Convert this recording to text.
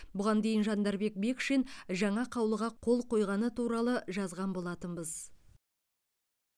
бұған дейін жандарбек бекшин жаңа қаулыға қол қойғаны туралы жаған болатынбыз